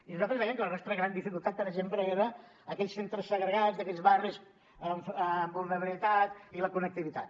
i nosaltres dèiem que la nostra gran dificultat per exemple eren aquells centres segregats d’aquells barris amb vulnerabilitat i la connectivitat